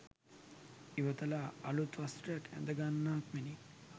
ඉවතලා අලුත් වස්ත්‍රයක් ඇඳගන්නාක් මෙනි.